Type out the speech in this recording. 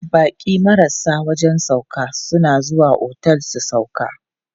Baƙi marasa wajen sauƙa suna zuwa otel su sauƙa.